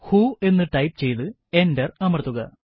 who എന്ന് type ചെയ്തു enter അമർത്തുക